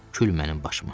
Kül mənim başıma.